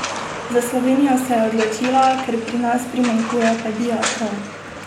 Za Slovenijo se je odločila, ker pri nas primanjkuje pediatrov.